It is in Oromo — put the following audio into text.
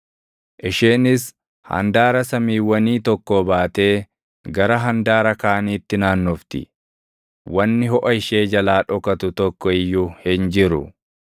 Isheenis handaara samiiwwanii tokkoo baatee gara handaara kaaniitti naannofti; wanni hoʼa ishee jalaa dhokatu tokko iyyuu hin jiru.